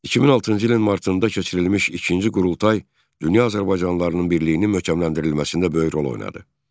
2006-cı ilin martında keçirilmiş ikinci qurultay dünya azərbaycanlılarının birliyinin möhkəmləndirilməsində böyük rol oynadı.